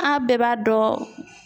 An bɛɛ b'a dɔn